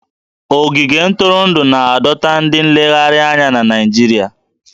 Ogige ntụrụndụ na-adọta ndị nlegharị anya na Naịjirịa